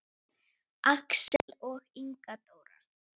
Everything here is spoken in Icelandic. Axel og Inga Dóra.